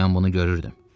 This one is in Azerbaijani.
Mən bunu görürdüm.